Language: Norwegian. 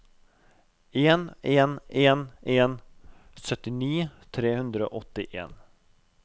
en en en en syttini tre hundre og åttien